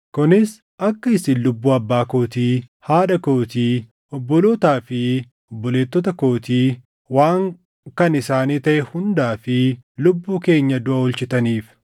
kunis akka isin lubbuu abbaa kootii, haadha kootii, obbolootaa fi obboleettota kootii, waan kan isaanii taʼe hundaa fi lubbuu keenya duʼa oolchitaniif.”